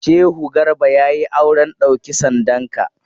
Shehu Garba ya yi auren ɗauki sandanka.